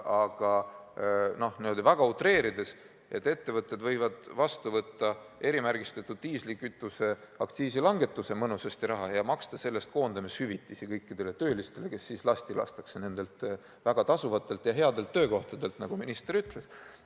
Aga niimoodi väga utreerides võivad need ettevõtted erimärgistatud diislikütuse aktsiisi langetuse mõnusasti vastu võtta ja maksta selle eest koondamishüvitisi kõikidele töötajatele, kes lastakse lahti nendelt väga tasuvatelt ja headelt töökohtadelt, nagu minister ütles.